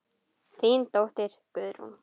Þín dóttir Guðrún.